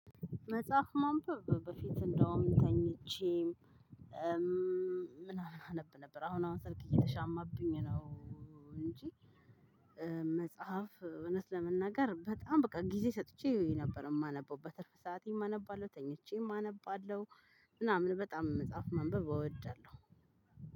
መጽሐፍ ማንበብ በፊት እንዳውም ተኝቼ ምናምን አነብ ነበር አሁን አሁን ስልክ እየተሻማብኝ ነው እንጂ መጽሐፍ እውነት ለመናገር በጣም በቃ ጊዜ ሰጥቼ ነበር የማነበው። በትርፍ ሰዓቴም አነባለሁ፤ ተኝቼም አነባለሁ ምናምን በጣም መጽሐፍ ማንበብ እወዳለሁ።